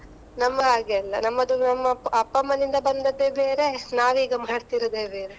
ನಮ್ಮ ಹಾಗೆ ಅಲ್ಲ, ನಮ್ಮದೊಮ್ಮೆ ಅಮ್ಮಅಪ್ಪ, ಅಪ್ಪ ಅಮ್ಮನಿಂದ ಬಂದದ್ದೇ ಬೇರೆ, ನಾವೀಗ ಮಡ್ತಿರೋದೆ ಬೇರೆ.